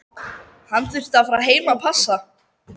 Hann þurfti að fara heim að passa.